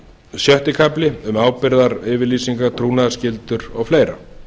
sjötti kafli um ábyrgðaryfirlýsingar trúnaðarskyldur og fleira